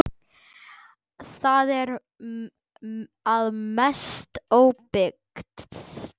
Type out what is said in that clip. Það er að mestu óbyggt.